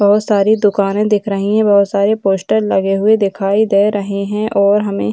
बोहोत सारी दुकानें दिख रही हैं बोहोत सारे पोस्टर लगे हुए दिखाई दे रहे हैं और हमें --